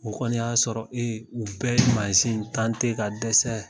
O kɔni y'a sɔrɔ u bɛɛ ye ka dɛsɛ